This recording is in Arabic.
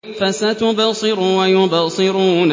فَسَتُبْصِرُ وَيُبْصِرُونَ